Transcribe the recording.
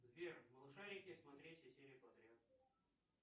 сбер малышарики смотреть все серии подряд